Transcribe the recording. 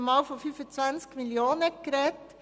Man sprach einmal von 25 Mio. Franken.